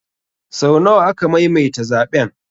Sau nawa aka maimaita zaɓen?